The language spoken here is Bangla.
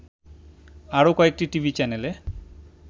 আরো কয়েকটি টিভি চ্যানেলে